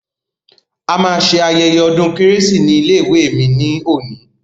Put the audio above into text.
A ma ṣe ayẹyẹ ọdún kérésì ní ilé ìwé mi ní òní.